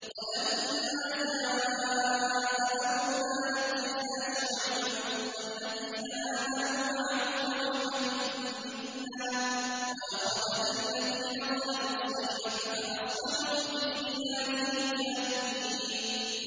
وَلَمَّا جَاءَ أَمْرُنَا نَجَّيْنَا شُعَيْبًا وَالَّذِينَ آمَنُوا مَعَهُ بِرَحْمَةٍ مِّنَّا وَأَخَذَتِ الَّذِينَ ظَلَمُوا الصَّيْحَةُ فَأَصْبَحُوا فِي دِيَارِهِمْ جَاثِمِينَ